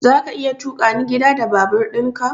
Zaka iya tukani gida da babur ɗin ka?